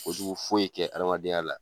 Kojugu foyi kɛ hadamadenya la.